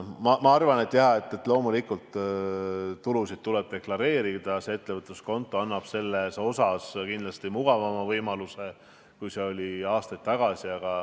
Jaa, loomulikult tulusid tuleb deklareerida ja ettevõtluskonto annab selleks kindlasti mugavama võimaluse, kui see oli aastaid tagasi.